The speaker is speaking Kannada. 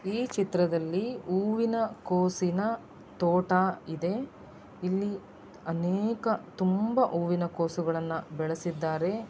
ಈ ಚಿತ್ರದಲ್ಲಿ ಹೂವಿನ ಕೋಸಿನ ತೋಟ ಇದೆ ಇಲ್ಲಿ ಅನೇಕ ತುಂಬಾ ಹೂವಿನ ಕೋಸುಗಳನ್ನು ಬೆಳಸಿದ್ದಾರೆ.